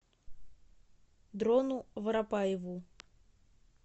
дрону воропаеву